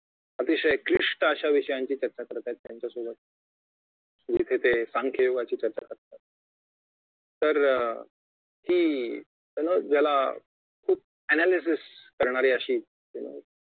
अतिशय क्लिष्ट अशा विषयांची चर्चा करत आहे त्यांच्या सोबत जिथे ते सांख्ययोगाची चर्चा करत आहेत तर की की ज्याला खूप याला analysis करणारी अशी